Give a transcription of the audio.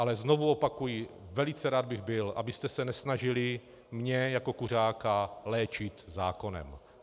Ale znovu opakuji, velice rád bych byl, abyste se nesnažili mě jako kuřáka léčit zákonem.